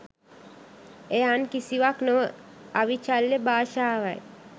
එය අන් කිසිවක් නොව අවිචල්‍ය භාෂාවයි